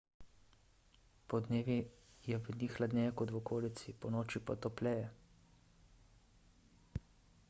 podnevi je v njih hladneje kot v okolici ponoči pa topleje